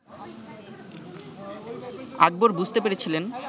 আকবর বুঝতে পেরেছিলেন